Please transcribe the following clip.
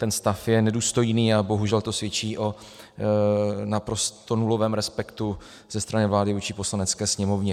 Ten stav je nedůstojný a bohužel to svědčí o naprosto nulovém respektu ze strany vlády vůči Poslanecké sněmovně.